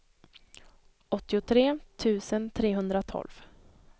åttiotre tusen trehundratolv